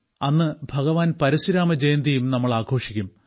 അന്ന് ഭഗവാൻ പരശുരാമ ജയന്തിയും നമ്മൾ ആഘോഷിക്കും